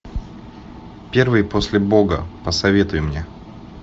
первый после бога посоветуй мне